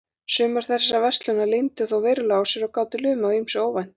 Sumar þessara verslana leyndu þó verulega á sér og gátu lumað á ýmsu óvæntu.